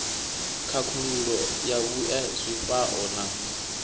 khakhululo ya vhue zwifhao na